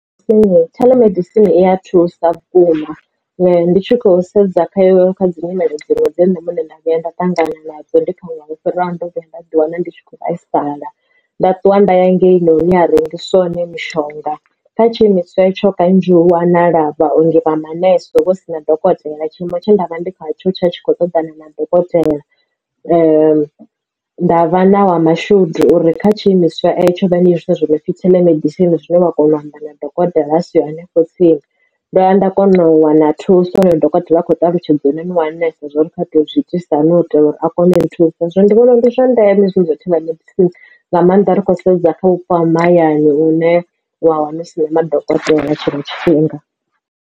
Theḽomedisini i ya thusa vhukuma ndi tshi khou sedza kha yo kha dzi nyimelo dziṅwe dzi ne nda muṋe nda vhuya nda ṱangana nadzo ndi thanga lwo fhiraho ndo vhuya nda ḓi wana ndi tshi kho vhaisala nda ṱuwa nda ya ngei hune ha rengiswa hone mishonga kha tshiimiswa etsho kanzhi hu wanala vhaongi vha manese huvho si na dokotela tshiimo tshe ndavha ndi khatsho tshi khou ṱoḓa na madokotela. Nda vha na wa mashudu uri kha tshi imiswa tsho vha ndi hezwila zwi nopfi theḽomedisini zwine wa kona u amba na dokotela vha si hanefho tsini ndo vhuya nda kona u wana thuso dokotela a kho ṱalutshedza khonani wanesa zwori kha to zwi itisa hani u itela uri a kone ri thusa zwo ndi vhona ndi zwa ndeme shumiswa themba tsini nga maanḓa ro sedza kha vhupo ha mahayani une wa wana hu si na madokotela tshiṅwe tshifhinga.